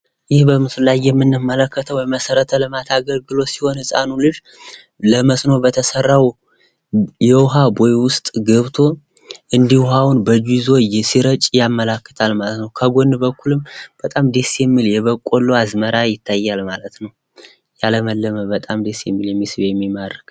ይህ በምስሉ ላይ የምንመለከተው የመሰረተ ልማት ሲሆን የምናየው ህፃን ለመስኖ በተሰራው ቦይ ውስጥ ገብቶ እንዲህ ውሀውን በእጁ ይዞ ሲረጭ ያመለክታል ማለት ነው ። ከጎን በኩልም በጣም ደስ ሚል የበቆሎ አዝመራ ይታያል ማለት ነው ።የለመለመ፣ በጣም ደስ የሚል ፣የሚስብ፣ የሚማርክ